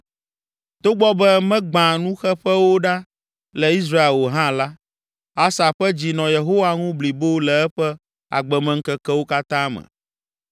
Togbɔ be megbã nuxeƒewo ɖa le Israel o hã la, Asa ƒe dzi nɔ Yehowa ŋu blibo le eƒe agbemeŋkekewo katã me.